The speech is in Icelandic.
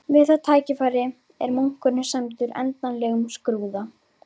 Við það tækifæri er munkurinn sæmdur endanlegum skrúða.